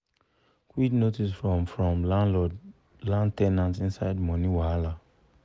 quit notice from from landlord land ten ant inside money wahala